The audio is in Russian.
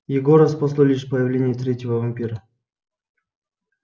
егора спасло лишь появление третьего вампира